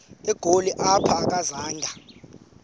egoli apho akazanga